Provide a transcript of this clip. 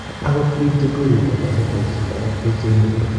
agot biik chekwerie bodabodaishek ago biik cheimuti